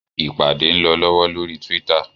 Ìpàdé ń lọ lọ́wọ́ lórí Twitter.